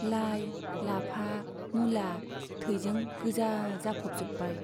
लाइ, लाफा, मुला थैजों गोजा जाफबजोबबाय।